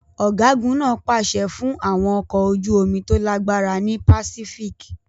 Ọ̀gágun náà pàṣẹ fún àwọn ọkọ̀ ojú omi tó lágbára ní Pacific.